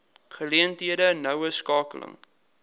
geleenthede noue skakeling